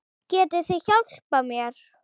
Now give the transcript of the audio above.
Getið þið hjálpað mér?